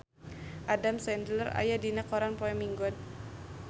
Adam Sandler aya dina koran poe Minggon